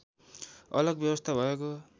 अलग व्यवस्था भएको